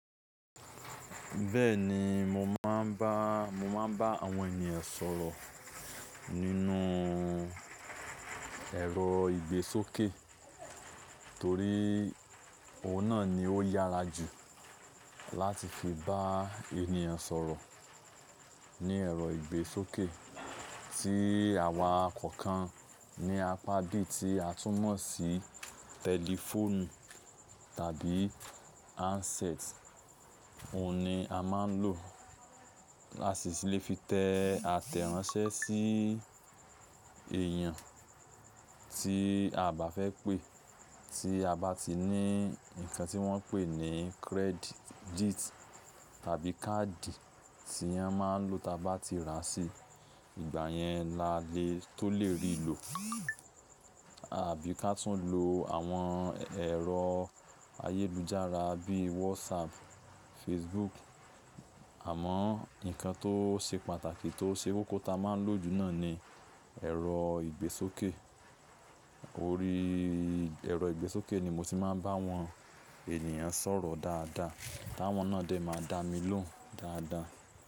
Bẹ́ẹ̀ni, mo máa ń bá, mo máa ń bá àwọn ènìyàn sọ̀rọ̀ nínú ẹ̀rọ ìgbésókè torí òun náà ni ó yára jù láti fi bá ènìyàn sọ̀rọ̀. Ní ẹ̀rọ ìgbésókè tí àwa kọ̀ọ̀kan ni a pa bi tí a túmọ̀ sí tẹlifóònù tàbí handset. Òun ni a máa ń lò láti sì lè fi tẹ àtẹ̀ránsẹ́ sí èèyàn tí a bá fẹ́ pé tí a bá ti ní ǹkan tí wọ́n ń pè ní kírẹ́díìtì tàbí káàdì tí a máa ń lò táa bá ti rà sí. Ìgbà yẹn la lè tó lè rí lò àbí ká tún lo àwọn ẹ̀rọ ayélujára bí WhatsApp, Facebook. Àmọ́ ǹkan tó ṣe pàtàkì tó ṣe kókó táa máa ń lò jù náà ni ẹ̀rọ ìgbésókè. Orí ẹ̀rọ ìgbésókè ni mo ti máa ń bá àwọn ènìyàn sọ̀rọ̀ dáadáa, táwọn náà dẹ̀ máa dá mi lóhùn dáadáa.